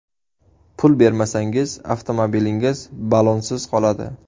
Pul bermasangiz, avtomobilingiz ballonsiz qoladi.